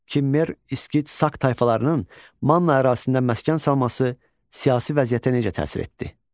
Kimmer, İskit, Sak tayfalarının Manna ərazisində məskən salması siyasi vəziyyətə necə təsir etdi?